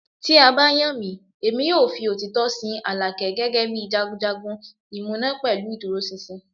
Ti a ba yan mi, Emi yoo fi otitọ sin Alake gẹgẹbi jagunjagun imuna pẹlu iduroṣinṣin